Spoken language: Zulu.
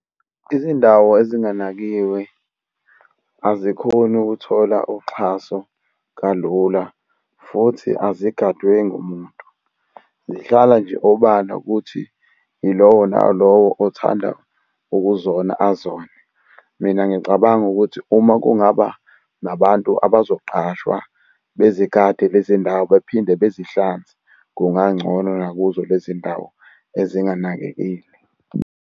Izindawo ezinganakiwe azikhoni ukuthola uxhaso kalula, futhi azigadwe ngumuntu. Zihlala nje obala ukuthi yilowo nalowo othanda ukuzona azone. Mina ngicabanga ukuthi uma kungaba nabantu abazoqashwa bezigade lezi ndawo bephinde bezihlanze, kungangcono nakuzo lezi ndawo ezinganakekile.